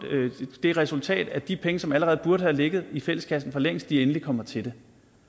det resultat at de penge som allerede burde have ligget i fælleskassen for længst endelig kommer til det